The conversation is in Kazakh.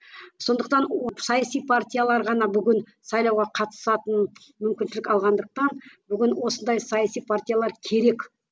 сондықтан саяси партиялар ғана бүгін сайлауға қатысатын мүмкіншілік алғандықтан бүгін осындай саяси партиялар керек